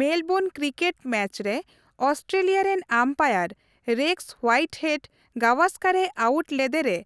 Melbourne cricket match ᱨᱮ Australia ᱨᱮᱱ umpire Rex Whitehead ᱜᱟᱣᱟᱥᱠᱟᱨᱮ ᱟᱣᱩᱴ ᱞᱮᱫᱮ ᱨᱮ